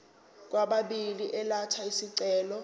kwababili elatha isicelo